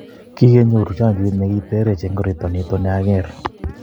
kikenyoru chanjoit ne ketrtech eng' koroito nito ne ang'er